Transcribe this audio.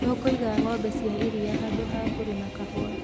Tũkũiga ngʻombe cia iria handũ ha kũrĩma kahũa